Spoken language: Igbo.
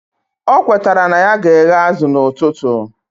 O kwetara na ya ga eghe azu na ututu